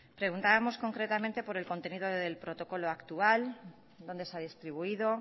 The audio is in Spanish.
preguntábamos concretamente por el contenido del protocolo actual dónde se ha distribuido